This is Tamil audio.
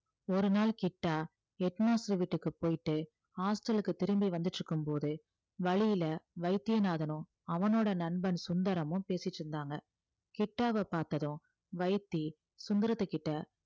ஒரு நாள் கிட்டா head master வீட்டுக்கு போயிட்டு hostel க்கு திரும்பி வந்துட்டு இருக்கும்போது வழியில வைத்தியநாதனும் அவனோட நண்பன் சுந்தரமும் பேசிட்டு இருந்தாங்க கிட்டாவை பார்த்ததும் வைத்தி சுந்தரத்துக்கிட்ட